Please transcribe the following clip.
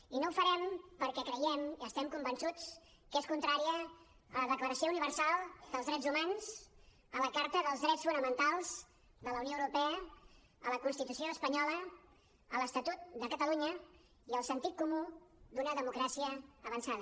i no ho farem perquè creiem estem convençuts que és contrària a la declaració universal dels drets humans a la carta dels drets fonamentals de la unió europea a la constitució espanyola a l’estatut de catalunya i al sentit comú d’una democràcia avançada